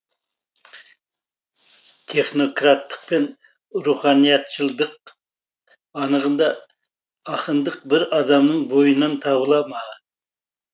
технократтық пен руханиятшылдық анығында ақындық бір адамның бойынан табыла ма